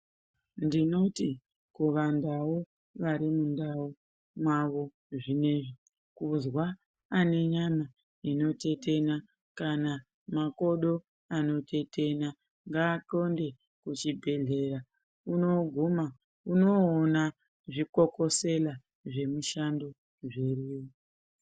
Ndinoti kuvandau varimundau mwavo zvinezvi kuzwa anenyama inotetena kana makodo anotetena ngaaxonde kuchibhedhleya unoguma unoona zvikokosela zvemushando zviriyo.